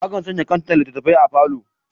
Akan sanya kantar littattafai a falo.